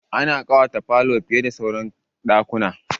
Ana ƙawata falo fiye da sauran ɗakuna.